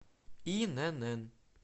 инн